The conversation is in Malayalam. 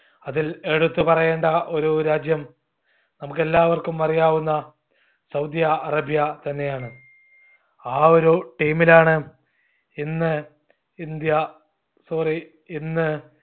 അതിൽ എടുത്ത് പറയേണ്ട ഒരു രാജ്യം നമുക്കെല്ലാവർക്കും അറിയാവുന്ന സൗദിയ അറേബ്യ തന്നെയാണ്. ആ ഒരു team ഇനാണ് ഇന്ന് ഇന്ത്യ sorry ഇന്ന്